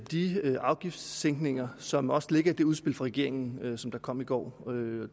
de afgiftssænkninger som også ligger i det udspil fra regeringen der kom i går